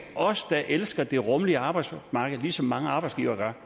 os der elsker det rummelige arbejdsmarked ligesom mange arbejdsgivere gør